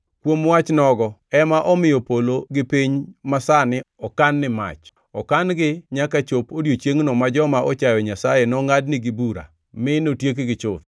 Kuom wach nogo ema omiyo polo gi piny masani okan ni mach. Okan-gi nyaka chop odiechiengʼno ma joma ochayo Nyasaye nongʼadnigi bura mi notiekgi chuth.